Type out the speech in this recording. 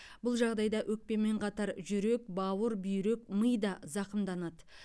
бұл жағдайда өкпемен қатар жүрек бауыр бүйрек ми да зақымданады